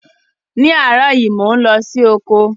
Ní áàrọ̀ yi, mo n lọ si oko